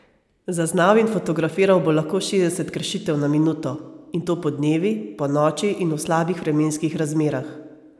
Zaznal in fotografiral bo lahko šestdeset kršitev na minuto, in to podnevi, ponoči in v slabih vremenskih razmerah.